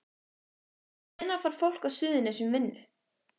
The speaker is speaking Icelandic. Hvenær fær fólk á Suðurnesjum vinnu?